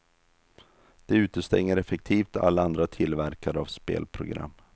Det utestänger effektivt alla andra tillverkare av spelprogram.